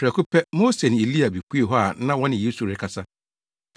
Prɛko pɛ, Mose ne Elia bepuee hɔ a na wɔne Yesu rekasa.